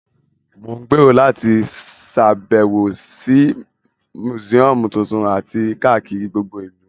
Mo n gbèrò láti sàbẹ̀wò si museum tuntun àti kakiri gbogbo ìlú